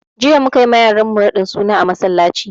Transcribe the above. Jiya mukayi ma yaran mu raɗin suna a masallaci